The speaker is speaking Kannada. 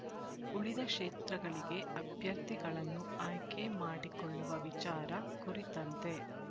ಉಳಿದ ಕ್ಷೇತ್ರಗಳಿಗೆ ಅಭ್ಯರ್ಥಿಗಳನ್ನು ಆಯ್ಕೆ ಮಾಡಿಕೊಳ್ಳುವ ವಿಚಾರ ಕುರಿತಂತೆ